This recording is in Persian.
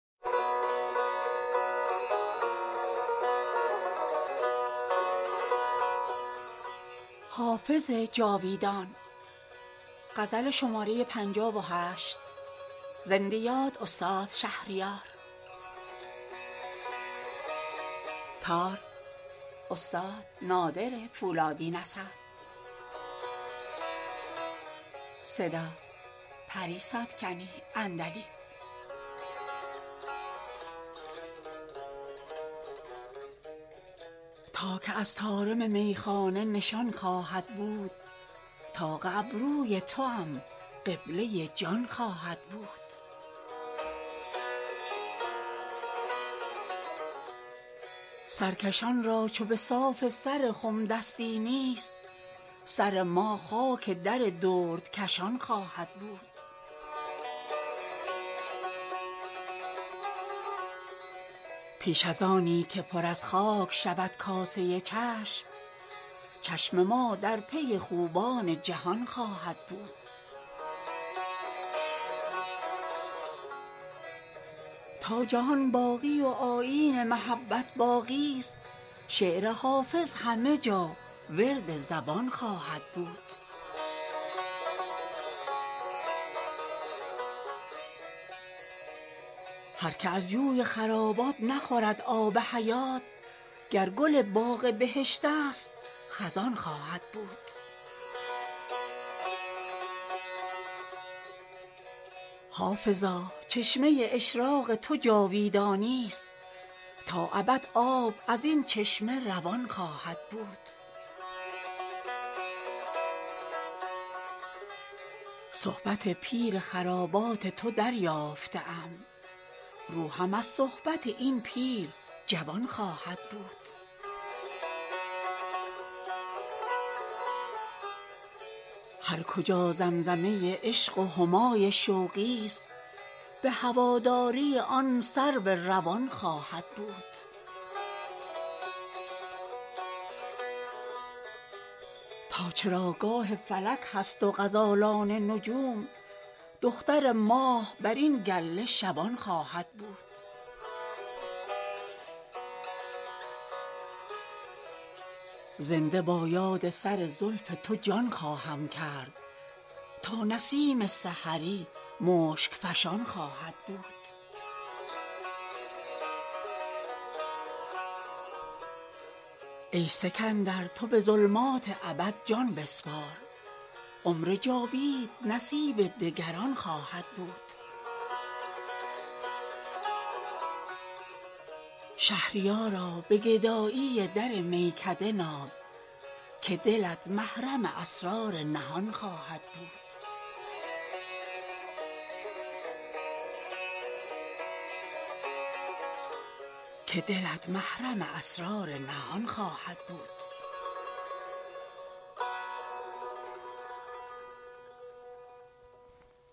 تا که از طارم میخانه نشان خواهد بود طاق ابروی توام قبله جان خواهد بود سرکشان را چو به صاف سر خم دستی نیست سر ما خاک در دردکشان خواهد بود پیش از آنی که پر از خاک شود کاسه چشم چشم ما در پی خوبان جهان خواهد بود تا جهان باقی و آیین محبت باقی است شعر حافظ همه جا ورد زبان خواهد بود هر که از جوی خرابات نخورد آب حیات گر گل باغ بهشت است خزان خواهد بود حافظا چشمه اشراق تو جاویدانی است تا ابد آب از این چشمه روان خواهد بود صحبت پیر خرابات تو دریافته ام روحم از صحبت این پیر جوان خواهد بود هر کجا زمزمه عشق و همای شوقی است به هواداری آن سرو روان خواهد بود تا چراگاه فلک هست و غزالان نجوم دختر ماه بر این گله شبان خواهد بود زنده با یاد سر زلف تو جان خواهم کرد تا نسیم سحری مشک فشان خواهد بود ای سکندر تو به ظلمات ابد جان بسپار عمر جاوید نصیب دگران خواهد بود شهریارا به گدایی در میکده ناز که دلت محرم اسرار نهان خواهد بود